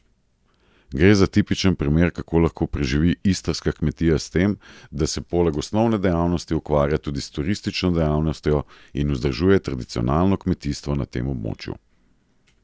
Gre za tipičen primer, kako lahko preživi istrska kmetija s tem, da se poleg osnovne dejavnosti ukvarja tudi s turistično dejavnostjo in vzdržuje tradicionalno kmetijstvo na tem območju.